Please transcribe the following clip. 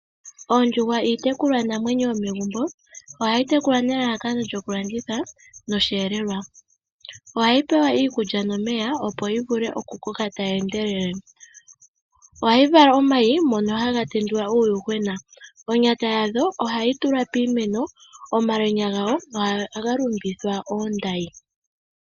Oondjuhwa iitekulwanamwenyo yomegumbo. Ohayi tekulwa nelalakano lyokulanditha noshelelelwa. Ohayi pewa iikulya nomeya opo yi vule yikoke tayi endelele. Ohayi vala omayi mono haga tendula uuyuhwena, onyata yadho ohayi tulwa piimeno, omalwenya gawo ohaga lumbithwa oondayi.